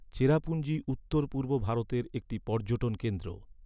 চেরাপুঞ্জি উত্তর পূর্ব ভারতের একটি পর্যটন কেন্দ্র।